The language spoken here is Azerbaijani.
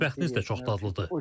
Və mətbəxiniz də çox dadlıdır.